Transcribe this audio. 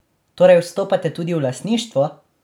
Torej vstopate tudi v lastništvo?